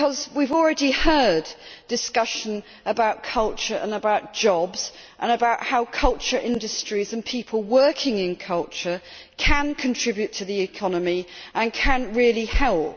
We have already heard discussion about culture and jobs and how culture industries and people working in culture can contribute to the economy and can really help.